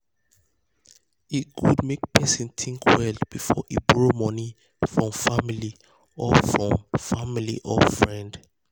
e good make person think well before e borrow money from family or from family or friend.